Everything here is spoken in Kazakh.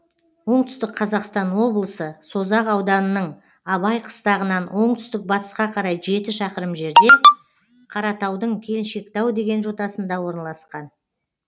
оңтүстік қазақстан облысы созақ ауданының абай қыстағынан оңтүстік батысқа қарай жеті шақырым жерде қаратаудың келіншектау деген жотасында орналасқан